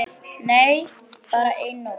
Nei, bara eina nótt.